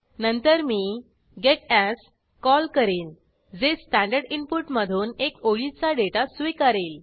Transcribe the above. नंतर मी gets call करीन जे स्टँडर्ड इनपुट मधून एक ओळीचा डेटा स्वीकारेल